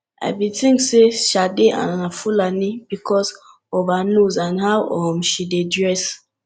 i bin think say sade na fulani because of her nose and how um she dey dress